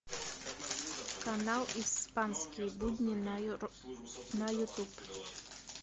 канал испанские будни на ютуб